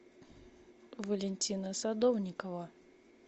валентина садовникова